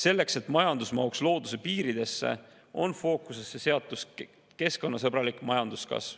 Selleks, et majandus mahuks looduse piiridesse, on fookusesse seatud keskkonnasõbralik majanduskasv.